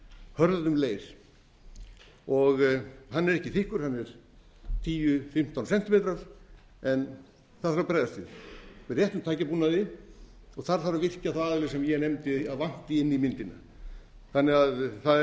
hörðum leir hann er ekki þykkur hann er tíu til fimmtán sentímetrar en það þarf að bregðast við með réttum tækjabúnaði og þar þarf að virkja þá aðila sem ég nefndi að vanti inn í myndina það